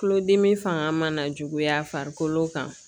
Tulodimi fanga mana juguya farikolo kan